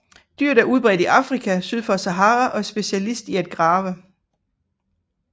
Dyret er udbredt i Afrika syd for Sahara og er specialist i at grave